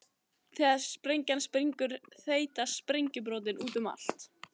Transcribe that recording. Þegar sprengjan springur þeytast sprengjubrotin út um allt.